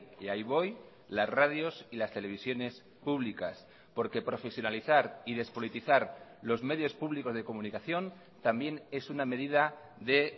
y ahí voy las radios y las televisiones públicas porque profesionalizar y despolitizar los medios públicos de comunicación también es una medida de